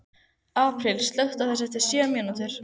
Apríl, slökktu á þessu eftir sjötíu mínútur.